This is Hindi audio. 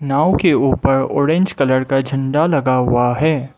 नाव के ऊपर ऑरेंज कलर का झंडा लगा हुआ है।